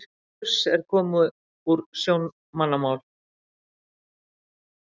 Kruss er komið úr sjómannamál.